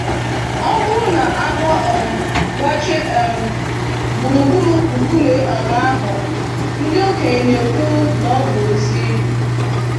Ọ bụrụ na agwọ um gbachie um gburugburu nkume um ahụ, ndị okenye na-ekwu na ọ bụ ozi.